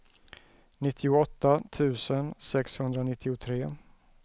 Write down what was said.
nittioåtta tusen sexhundranittiotre